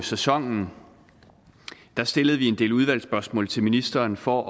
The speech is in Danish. sæsonen stillede vi en del udvalgsspørgsmål til ministeren for